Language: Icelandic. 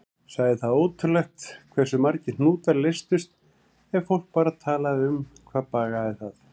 Sagði það ótrúlegt hversu margir hnútar leystust ef fólk bara talaði um hvað bagaði það.